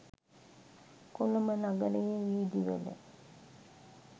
කොළඹ නගරයේ වීදි වල